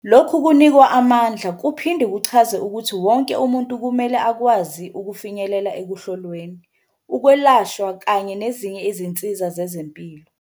Lokhu kunikwa amandla kuphinde kuchaze ukuthi wonke umuntu kumele akwazi ukufinyelela ekuhlolweni, ukwelashwa kanye nezinye izinsiza zezempilo.